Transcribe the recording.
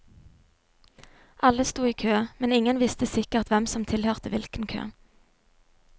Alle sto i kø, men ingen visste sikkert hvem som tilhørte hvilken kø.